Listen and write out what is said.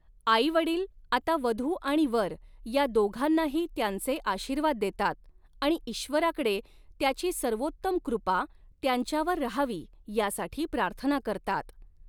आईवडील आता वधू आणि वर या दोघांनाही त्यांचे आशीर्वाद देतात आणि ईश्वराकडे त्याची सर्वोत्तम कृपा त्यांच्यावर रहावी यासाठी प्रार्थना करतात.